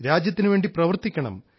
രാജ്യത്തിനു വേണ്ടി പ്രവർത്തിക്കണം